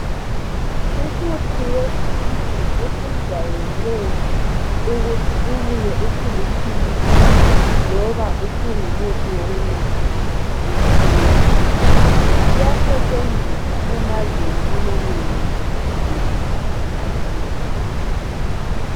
Umuthi wesintu osijayele ukuthi ubuye usuliphilisi loba usungumuthi wokunatha lichena iyasetshenziswa emazweni nje jikelele atshiyeneyo